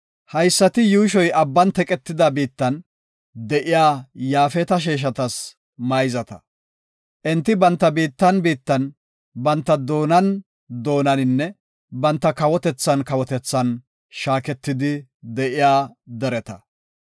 Haysati Yuushoy abban teqetida biittan de7iya Yaafeta sheeshatas mayzata. Enti banta biittan biittan, banta doonan doonaninne banta kawotethan kawotethan shaaketidi de7iya dereta.